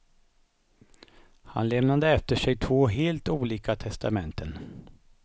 Han lämnade efter sig två helt olika testamenten.